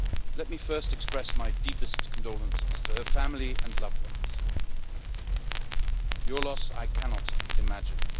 Let me first express my deepest condolences to her family and loved ones. Your loss, I cannot imagine.